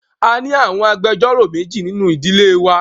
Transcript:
A ni awọn agbẹjọro meji ninu idile wa